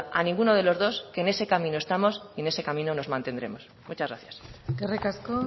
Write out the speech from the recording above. ninguna duda a ninguno de los dos que en ese camino estamos y en ese camino nos mantendremos muchas gracias eskerrik asko